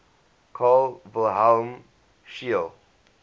carl wilhelm scheele